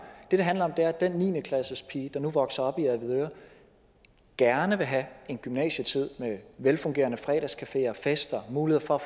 det handler om er at den niende klassepige der nu vokser op i avedøre gerne vil have en gymnasietid med velfungerende fredagscafé og fester mulighed for at